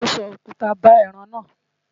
Ṣadé so òkuta ba ẹran náà.